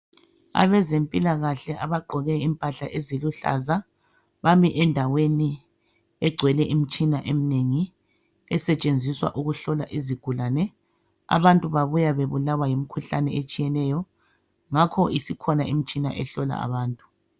Abezempilakahle abagqoke impahla eziluhlaza bami endaweni egcwele imitshina eminengi esetshenziswa ukuhlola izigulane abantu babuya bebulawa yimkhuhlane etshiyeneyo ngakho isikhona imishina ehlola ababantu